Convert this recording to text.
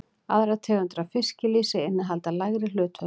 Aðrar tegundir af fiskilýsi innihalda lægri hlutföll.